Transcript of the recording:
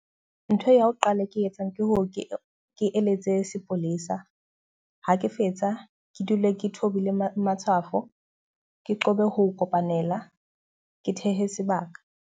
Ntho ya ho qala ke e etsang ke ho ke ke eletse sepolesa. Ha ke fetsa ke dule ke thobile matshwafo. Ke qobe ho kopanela, ke thehe sebaka.